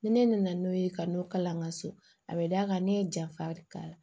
Ni ne nana n'o ye ka n'o kalan n ka so a bɛ d'a kan ne ye janfa k'a la